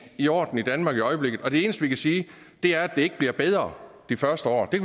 i orden i danmark i øjeblikket og det eneste vi kan sige er at det ikke bliver bedre de første år det